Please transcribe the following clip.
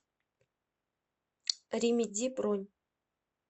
ремеди бронь